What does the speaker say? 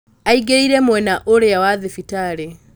aingĩrire mwena ũrĩa wa thibitarĩ